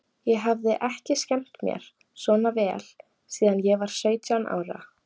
Ég hafði ekki skemmt mér svona vel síðan ég var sautján ára.